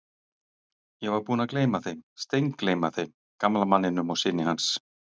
Ég var búinn að gleyma þeim, steingleyma þeim, gamla manninum og syni hans.